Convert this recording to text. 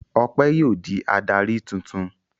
Ọpẹ́ yóò di adarí tuntun.